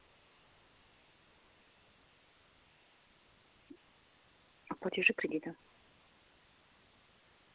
а платежи кредита